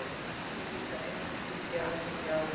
Þetta er nú líklega einum of djúpt tekið í árina.